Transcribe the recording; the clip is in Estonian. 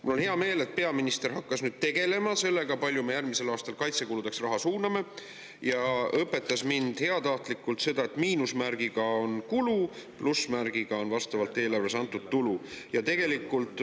Mul on hea meel, et peaminister hakkas tegelema sellega, kui palju me järgmisel aastal kaitsekuludeks raha suuname, ja õpetas mind heatahtlikult, et miinusmärgiga on kulu, plussmärgiga on eelarves antud vastavalt tulu.